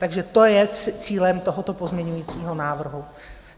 Takže to je cílem tohoto pozměňovacího návrhu.